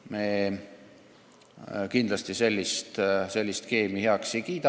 Me kindlasti sellist skeemi heaks ei kiida.